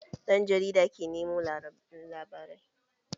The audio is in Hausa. Ɗan jarida ke nemo labarai